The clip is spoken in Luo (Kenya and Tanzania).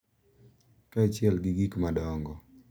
Kaachiel gi gik madongo.